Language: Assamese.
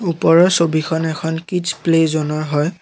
ওপৰৰ ছবিখন এখন কিডছ প্লে জ'নৰ হয়।